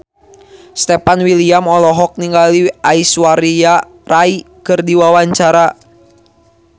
Stefan William olohok ningali Aishwarya Rai keur diwawancara